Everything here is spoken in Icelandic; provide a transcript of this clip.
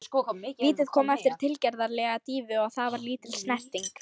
Vítið kom eftir tilgerðarlega dýfu og það var lítil snerting.